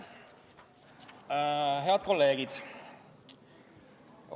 Head kolleegid!